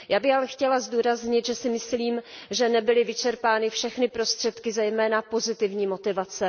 Já bych ale chtěla zdůraznit, že si myslím, že nebyly vyčerpány všechny prostředky zejména pozitivní motivace.